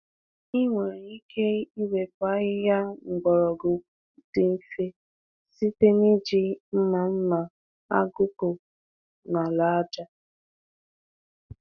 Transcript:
Ị nwere ike iwepu ahịhịa mgbọrọgwụ dị mfe site n’iji mma mma agụkpụ n’ala aja.